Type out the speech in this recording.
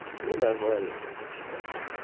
все нормально короче